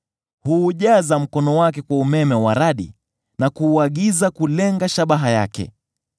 Huujaza mkono wake kwa umeme wa radi, na kuuagiza kulenga shabaha yake.